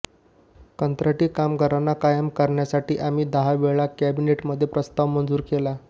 कंत्राटी कामगारांना कायम करण्यासाठी आम्ही दहा वेळा कॅबिनेटमध्ये प्रस्ताव मंजूर केला